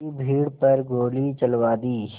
की भीड़ पर गोली चलवा दी